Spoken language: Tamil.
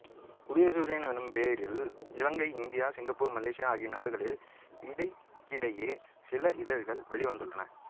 உதய சூரியன் எனும் பெயரில் இலங்கை இந்தியா சிங்கப்பூர் மலேசியா ஆகிய நாடுகளில் இடைக்கிடையே சில இதழ்கள் வெளிவந்துள்ளன